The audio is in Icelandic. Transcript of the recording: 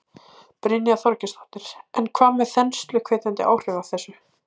Brynja Þorgeirsdóttir: En hvað með þensluhvetjandi áhrifin af þessu?